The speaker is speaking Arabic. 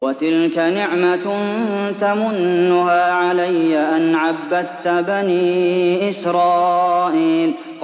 وَتِلْكَ نِعْمَةٌ تَمُنُّهَا عَلَيَّ أَنْ عَبَّدتَّ بَنِي إِسْرَائِيلَ